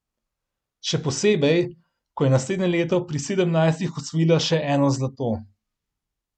Še posebej, ko je naslednje leto pri sedemnajstih osvojila še eno zlato.